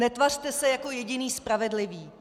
Netvařte se jako jediný spravedlivý.